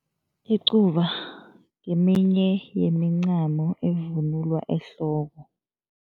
Icuba ngeminye yemincamo evunulwa ehloko.